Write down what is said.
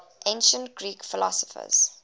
ancient greek philosophers